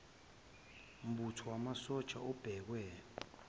mbutho wamasosha obekwe